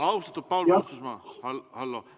Austatud Paul Puustusmaa, hallo!